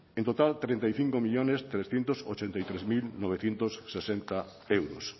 en total treinta y cinco millónes trescientos ochenta y tres mil novecientos sesenta euros